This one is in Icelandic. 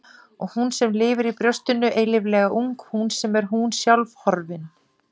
Og hún sem lifir í brjóstinu eilíflega ung, hún sem er hún sjálf, horfin.